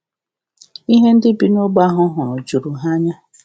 Ihe ndị bi n’ogbe ahụ hụrụ juru ha anya.